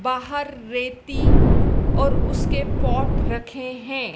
बाहर रेती और उसके पॉट रखे हैं।